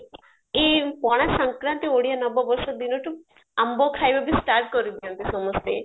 ଏଇ ପଣା ଶଙ୍କାରାନ୍ତି ଓଡିଆ ନବ ବର୍ଷ ଦିନଠୁ ଆମ୍ବ ଖାଇବା ବି start କରିଦିଅନ୍ତି ସମସ୍ତେ